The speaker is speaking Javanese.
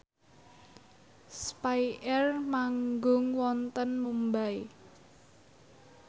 spyair manggung wonten Mumbai